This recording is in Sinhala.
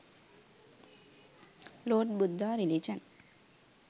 lord budda religion